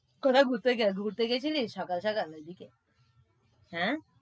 তোরা ঘুরতে যা~ঘুরতে গেছিলিস সকাল সকাল ওইদিকে? হ্যাঁ,